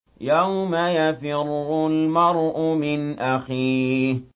يَوْمَ يَفِرُّ الْمَرْءُ مِنْ أَخِيهِ